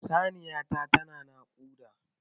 Saniya ta ta na naƙuda